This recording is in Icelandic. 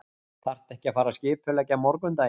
Þarftu ekki að fara að skipuleggja morgundaginn.